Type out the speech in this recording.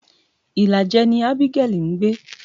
Ìlàjẹ ni Abigail ń gbé.